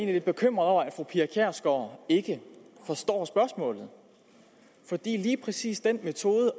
lidt bekymret over at fru pia kjærsgaard ikke forstår spørgsmålet fordi lige præcis den metode